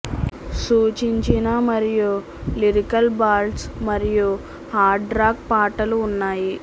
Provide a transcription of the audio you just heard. సూచించిన మరియు lyrical ballads మరియు హార్డ్ రాక్ పాటలు ఉన్నాయి